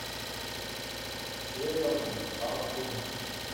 северный хартум